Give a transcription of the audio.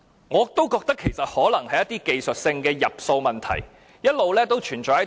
我覺得一些技術性的入數問題可能一直存在。